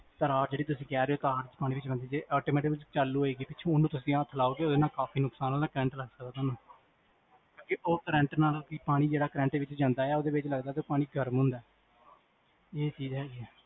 sir ਹਾਂ ਜੇਹੜੀ ਤੁਸੀਂ ਕਹ ਰਹੇ ਹੋ ਤਾਰ ਪਾਣੀ ਵਿਚ ਜਾਏਗੀ ਜੇ automatic ਚਾਲੂ ਹੋਏਗੀ ਤੁਸੀਂ ਓਹਨੂੰ ਹੱਥ ਲਾਓਗੇ ਤਾਂ ਨੁਕਸਾਨ ਵੀ ਹੋ ਸਕਦਾ ਹੈ current ਲੱਗ ਸਕਦਾ ਹੈ ਤੁਹਾਨੂੰ ਓਹ current ਨਾਲ ਤੁਸੀਂ ਪਾਣੀ ਜਿਹੜਾ current ਵਿਚ ਜਾਂਦਾ ਹੈ ਉਹਦੇ ਨਾਲ ਪਾਣੀ ਗਰਮ ਹੁੰਦਾ ਹੈ